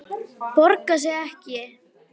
Borgar sig ekki?